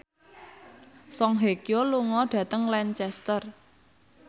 Song Hye Kyo lunga dhateng Lancaster